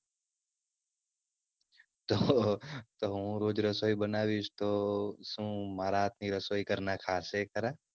તો હું રોજ રસોઈ બનાવીશ તો શું મારા હાથની રસોઈ ઘરના ખાશે ખરા?